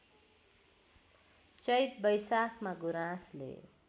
चैत वैशाखमा गुराँसले